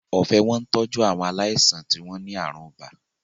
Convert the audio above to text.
Ọ̀fẹ́ wọ́n tọ́jú àwọn aláìsàn tí wọ́n ní àrùn ibà